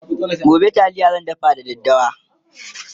gobe taliya zan dafa da daddawa